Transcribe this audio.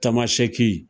Tamasɛki